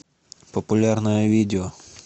популярное видео